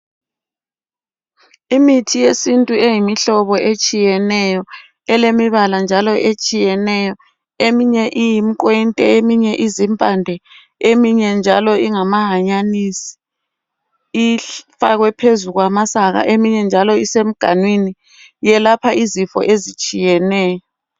Imithi yesintu eyimihlobo etshiyeneyo elemibala njalo etshiyeneyo. Eminye iyimiqwente eminye izimpande, eminye njalo ingamahanyanisi ifakwe phezu kwamasaka, eminye njalo isemganwini. Yelapha izifo ezitshiyeneyo.